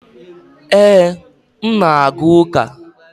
Ee, m na-aga ụka.